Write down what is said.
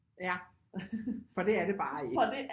Ja for det er det bare ikke